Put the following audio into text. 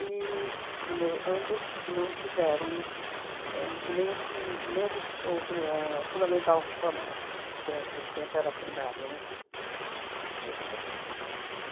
E na no ambos não fizeram éh nem o prim nem po o pri ahn o fundamental formal, que naquele tempo era primário, né, curso primário.